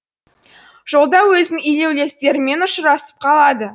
жолда өзінің илеулестерімен ұшырасып қалады